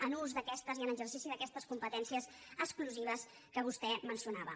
en ús i en exercici d’aquestes competències exclusives que vostè mencionava